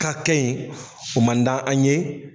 Ka kɛ yen o man d'an an ye